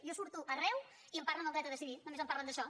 jo surto arreu i em parlen del dret a decidir només em parlen d’això